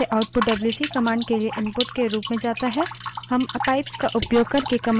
हम pipes का उपयोग करके commands की लम्बी श्रृंखलाएँ भी जोड़ सकते हैं